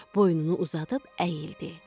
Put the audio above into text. Boynunu uzadıb əyildi.